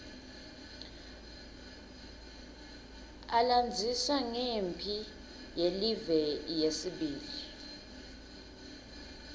alandzisa ngemphi yelive yesibili